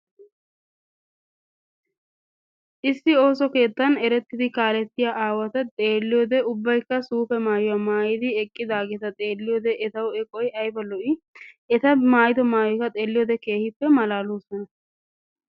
issi ooso keettsn erettidi ksslettiya aawata xeelliyoode ubbaykka suupe maayuwa maayyidi eqqidageteta xeelliyoode etaw eqoy aybba lo''i! eta maayyido maayyoyikka xeelliyoode keehippe malaaloosona.